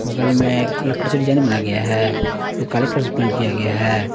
बगल में लकड़ी से डिजाइन बनाया गया है जो काले कलर से पेंट किया गया है।